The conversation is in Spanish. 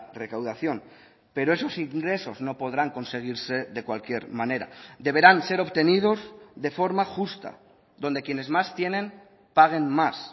recaudación pero esos ingresos no podrán conseguirse de cualquier manera deberán ser obtenidos de forma justa donde quienes más tienen paguen más